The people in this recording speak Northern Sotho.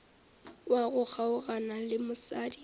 wa go kgaogana le mosadi